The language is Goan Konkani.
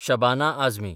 शबाना आझमी